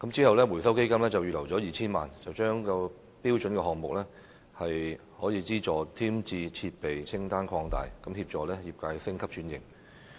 後來，基金預留了 2,000 萬元，將"標準項目"下可資助添置的設備清單擴大，協助業界升級轉型。